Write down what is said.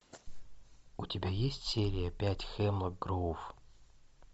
у тебя есть серия пять хемлок гроув